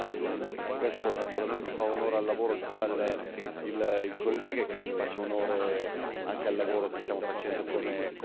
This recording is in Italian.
Questo naturalmente fa onore al lavoro che fa il collega e credo che faccia onore anche al lavoro che stiamo facendo come Aula.